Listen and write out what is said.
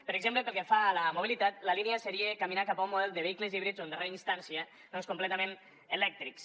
per exemple pel que fa a la mobilitat la línia seria caminar cap a un model de vehicles híbrids o en darrera instància doncs completament elèctrics